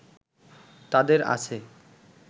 তাদের আছে